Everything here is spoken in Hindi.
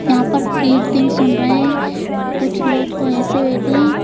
यहां पर कीर्तिंग सुन रहे हैं कुछ लोग तो ऐसे बैठे हैं।